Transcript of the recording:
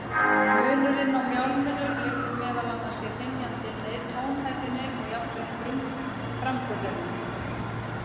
Munurinn á mjálminu liggur meðal annars í hrynjandinni, tónhæðinni og jafnvel framburðinum.